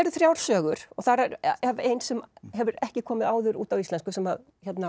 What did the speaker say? þrjár sögur og þar af ein sem hefur ekki komið áður út á íslensku sem